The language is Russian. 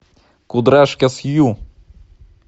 кудряшка сью